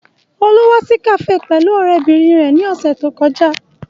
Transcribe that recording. Olú wá sí kafe pẹ̀lú ọ̀rẹ́bìnrin rẹ ní ọ̀sẹ̀ tí ó kọjá